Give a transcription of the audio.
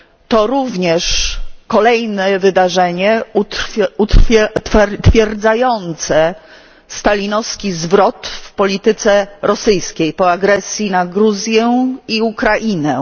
To również kolejne wydarzenie utwierdzające stalinowski zwrot w polityce rosyjskiej po agresji na Gruzję i Ukrainę.